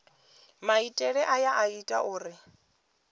maitele aya a ita uri